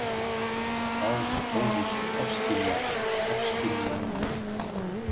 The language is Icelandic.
Þá hófust ofskynjanirnar.